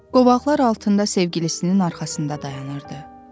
Qovaqlar altında sevgilisinin arxasında dayanırdı.